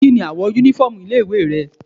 Kíni àwọ̀ uniform ilé ìwé rẹ̀?